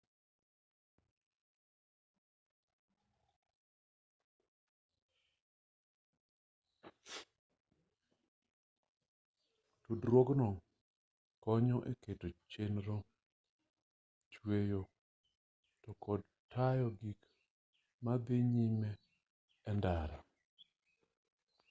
tudruogno konyo e keto chenro chueyo to kod tayo gik madhi nyime e ndara